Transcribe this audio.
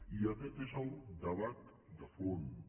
i aquest és el debat de fons